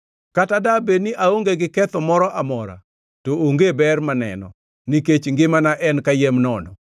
“Kata dabed ni aonge gi ketho moro amora, to onge ber maneno, nikech ngimana en kayiem nono.